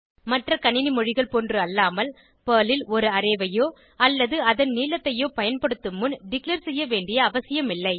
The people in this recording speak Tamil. மற்ற கணினி மொழிகள் போன்று அல்லாமல் பெர்ல் ல் ஒரு அரே ஐயோ அல்லது அதன் நீளத்தையோ பயன்படுத்தும் முன் டிக்ளேர் செய்யவேண்டிய அவசியம் இல்லை